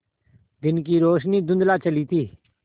दिन की रोशनी धुँधला चली थी